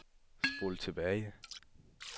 spol tilbage